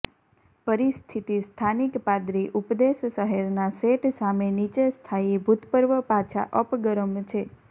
પરિસ્થિતિ સ્થાનિક પાદરી ઉપદેશ શહેરના સેટ સામે નીચે સ્થાયી ભૂતપૂર્વ પાછા અપ ગરમ છે